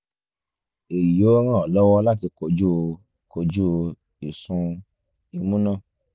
èyí yóò ràn án lọ́wọ́ láti kojú kojú ìsun imú náà